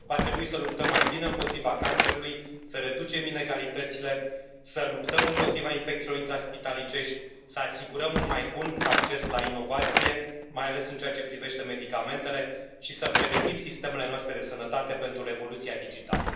Va trebui să luptăm mai bine împotriva cancerului, să reducem inegalitățile, să luptăm împotriva infecțiilor intraspitalicești, să asigurăm un mai bun acces la inovație, mai ales în ceea ce privește medicamentele, și să pregătim sistemele noastre de sănătate pentru revoluția digitală.